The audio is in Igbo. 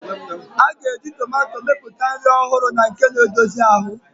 A ga-eji tomato mepụta nri ọhụrụ na nke na-edozi ahụ.